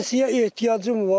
Pensiyaya ehtiyacım var.